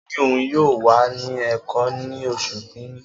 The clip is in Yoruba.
O ni oun yoo wa ni Eko ni osu kini